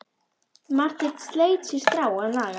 Marteinn sleit sér strá að naga.